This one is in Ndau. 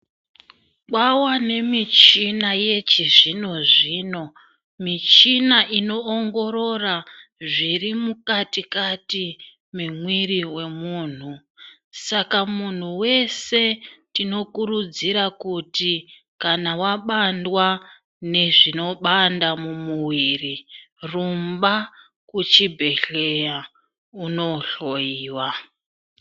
Kwawa nemichina yechizvino zvino, michina inoongorora zviri mukati kati memwiri womuntu. Saka muntu wese tinomukurudzira kuti kana wabandwa ngezvinobanda mumwiri rumba kuchibhedhleya unohloyiwa.